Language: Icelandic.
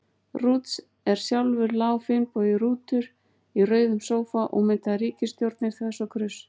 Rúts, en sjálfur lá Finnbogi Rútur í rauðum sófa og myndaði ríkisstjórnir þvers og kruss.